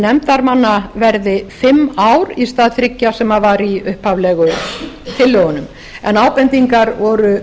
nefndarmanna verði fimm ár í stað þriggja sem var í upphaflegu tillögunum en ábendingar